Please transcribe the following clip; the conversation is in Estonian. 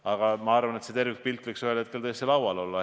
Aga ma arvan, et see tervikpilt võiks ühel hetkel tõesti laual olla.